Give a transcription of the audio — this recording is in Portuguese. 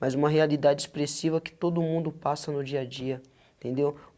mas uma realidade expressiva que todo mundo passa no dia a dia, entendeu?